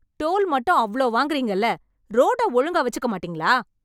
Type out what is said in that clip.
Toll மட்டும் அவ்ளோ வாங்குறீங்கல்ல? ரோட்ட ஒழுங்கா வெச்சுக்க மாட்டீங்களா?